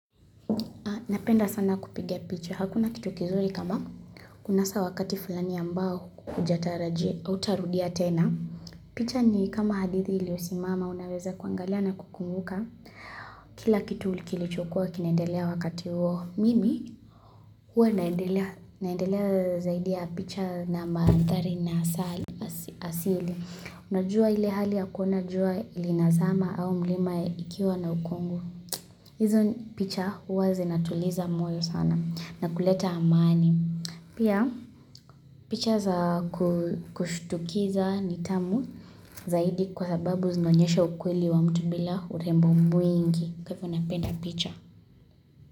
Napenda sana kupigia picha. Hakuna kitu kizuri kama kunasa wakati fulani ambao haujatarajia hutarudia tena. Picha ni kama hadithi iliyosimama unaweza kuangalia na kukumbuka. Kila kitu kilichokua kinaendelea wakati huo. Mimi huwa naendelea zaidi ya picha na mandhari na asili. Unajua ile hali hakuna jua linazama au mlima ukiwa na ukungu. Hizo picha huwazinatuliza moyo sana. Na kuleta amani. Pia picha za kushtukiza ni tamu zaidi kwa sababu zinaonyesha ukweli wa mtu bila urembo mwingi. Kwa hivyo napenda picha.